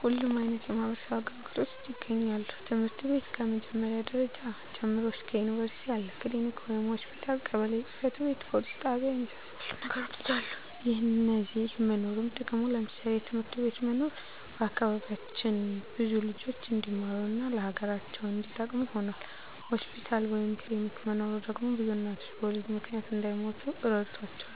ሁሉም አይነት የማህበረሰብ አገልግሎቶች ይገኛሉ ትምህርት ቤት ከ መጀመሪያ ደረጃ ጀምሮ እስከ ዩኒቨርስቲ አለ፣ ክሊኒክ ወይም ሆስፒታል፣ ቀበሌ ጽ/ቤት፣ ፖሊስ ጣቢያ የመሳሰሉት ነገሮች አሉ። የነዚህ መኖርም ጥቅሙ ለምሳሌ፦ የትምህርት ቤት መኖር በአካባቢያችን ብዙ ልጆች እንዲማሩ እና ለሀገራቸው እንዲጠቅሙ ሁኗል። ሆስፒታል ወይም ክሊኒክ መኖሩ ደግሞ ብዙ እናቶች በወሊድ ምክንያት እንዳይሞቱ ረድቷቸዋል።